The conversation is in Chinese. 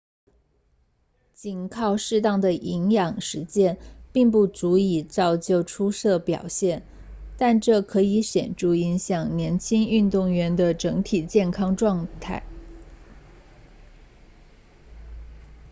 仅靠适当的营养实践并不足以造就出色表现但这可以显著影响年轻运动员的整体健康状况